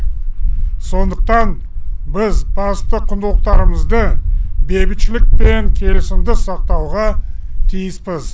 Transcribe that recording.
сондықтан біз басты құндылықтарымызды бейбітшілік пен келісімді сақтауға тиіспіз